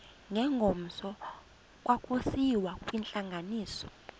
ngengomso kwakusiyiwa kwintlanganiso